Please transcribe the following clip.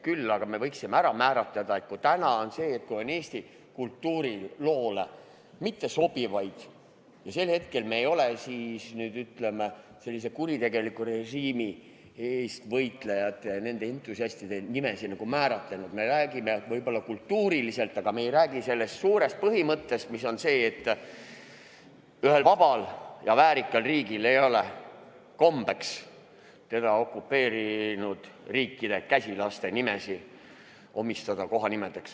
Küll aga võiksime ära otsustada, et kui meil on praegu kasutusel Eesti kultuuriloosse sobimatuid nimesid ja me ei ole sel hetkel, ütleme, kuritegeliku režiimi eest võitlejate ja entusiastide nimesid ära määratlenud, siis me räägime võib-olla kultuuriloost, aga me ei räägi sellest suurest põhimõttest, et ühel vabal ja väärikal riigil ei ole kombeks teda okupeerinud riikide käsilaste nimesid panna kohanimedeks.